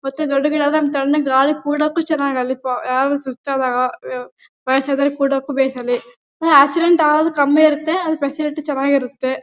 ಮತ್ತೆ ದೊಡ್ಡ್ ಗಿಡ ಆದ್ರೆ ತಣ್ಣನೆ ಗಾಳಿ ಕುರಕ್ಕೂ ಚೆನ್ನಾಗ್ ಅಲ್ಲಿ ಪ ಯಾರಾದರೂ ಸುಸ್ತು ಆದಾಗ ವಯಸ್ಸು ಆದವರು ಕುರಕ್ಕೂ ಬೇಕ್ ಅಲ್ಲಿ ಹೇ ಆಕ್ಸಿಡೆಂಟ್ ಆಗೋದು ಕಮ್ಮಿ ಇರುತ್ತೆ ಆದ್ರೆ ಸ್ಪೆಶಾಲಿಟಿ ಚೆನ್ನಾಗಿ ಇರುತ್ತೆ.